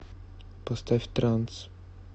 поставь транс